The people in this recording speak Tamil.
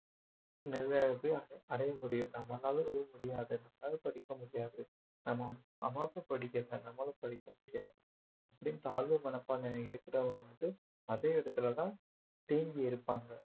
அடைய முடியும் நம்மளால எதுவும் முடியாது நம்மளால படிக்க முடியாது நம்ம அம்மா அப்பா படிக்கல நம்மளும் படிக்க முடியாது அப்படீன்னு தாழ்வு மனப்பான்மை இருக்கிறவங்க வந்து அதே இடத்துலதான் தேங்கி இருப்பாங்க